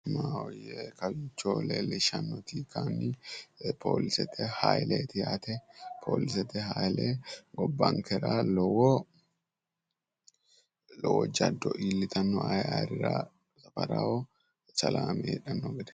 maahoyye kawicho leellishshannohu kayiinni polisete hayiileeti yaate polisete hayiile gobbankera lowo jaddo iillitanno ayi ayirira qarqaraho salaame heedhanno gede.